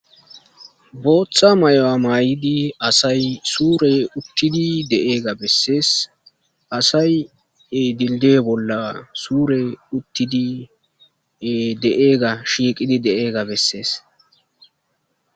booththa mayyuwa mayidi asay suure uttidi deaeega bessees asay e dildi'e bolla suure uttidi de'eega shiiqidi deeega bessees